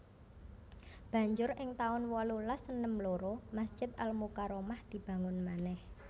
Banjur ing taun wolulas enem loro Masjid Al Mukarromah dibangun manèh